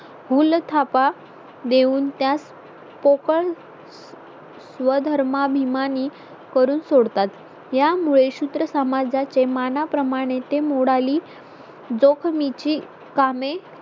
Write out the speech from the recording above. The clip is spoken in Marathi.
भूलथापा देऊन त्यास कोकण व धर्माभिमानी करून सोडतात यामुळे सूत्र समाजाचे मानाप्रमाणे ते मोडाली जोखमीची कामे